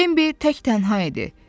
Bembi tək-tənha idi.